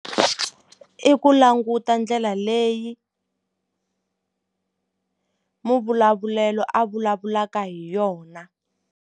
I ku languta ndlela leyi muvulavulelo a vulavulaka hi yona.